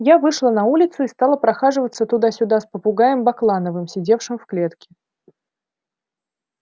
я вышла на улицу и стала прохаживаться туда-сюда с попугаем баклановым сидевшим в клетке